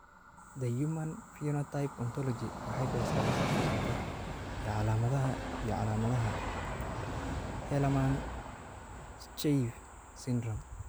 The Human Phenotype Ontology waxay bixisaa liiska soo socda ee calaamadaha iyo calaamadaha Hallermann Streiff syndrome.